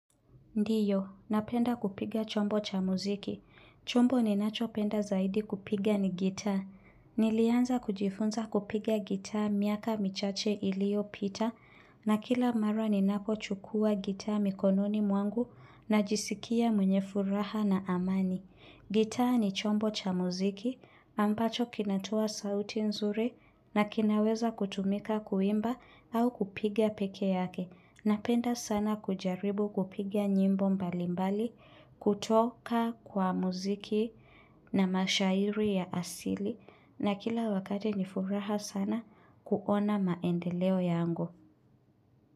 Ndiyo, napenda kupiga chombo cha muziki. Chombo ninachopenda zaidi kupiga ni gitaa. Nilianza kujifunza kupiga gitaa miaka michache iliyopita na kila mara ninapochukua gitaa mikononi mwangu najisikia mwenye furaha na amani. Gitaa ni chombo cha muziki ambacho kinatoa sauti nzuri na kinaweza kutumika kuimba au kupiga peke yake. Napenda sana kujaribu kupiga nyimbo mbalimbali, kutoka kwa muziki na mashairi ya asili na kila wakati nifuraha sana kuona maendeleo yangu.